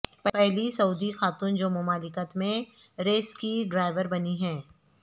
پہلی سعودی خاتون جومملکت میں ریس کی ڈرائیور بنی ہیں